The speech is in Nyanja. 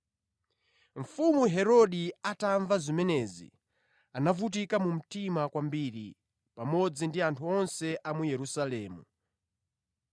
Mfumu Herode atamva zimenezi, anavutika mu mtima kwambiri pamodzi ndi anthu onse a mu Yerusalemu.